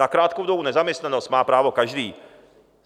Na krátkou dobu nezaměstnanosti má právo každý.